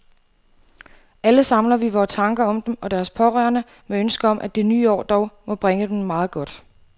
Alle samler vi vore tanker om dem og deres pårørende med ønsket om, at det nye år dog må bringe dem meget godt.